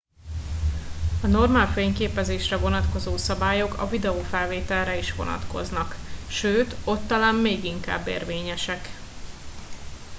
a normál fényképezésre vonatkozó szabályok a videofelvételre is vonatkoznak sőt ott talán még inkább érvényesek